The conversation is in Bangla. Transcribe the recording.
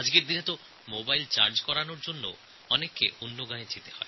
এখন তো মোবাইল চার্জ করতে হলেও অন্য গ্রামে যেতে হয়